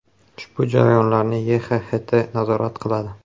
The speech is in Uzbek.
Ushbu jarayonlarni YXHT nazorat qiladi.